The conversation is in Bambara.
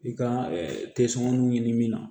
I ka ɲini min na